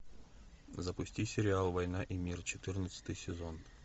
запусти сериал война и мир четырнадцатый сезон